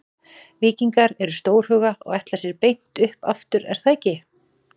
Víkingar eru stórhuga og ætla sér beint upp aftur er það ekki?